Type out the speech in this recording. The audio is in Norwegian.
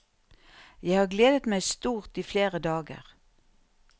Jeg har gledet meg stort i flere dager.